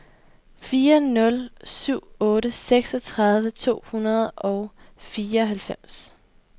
fire nul syv otte seksogtredive to hundrede og fireoghalvfems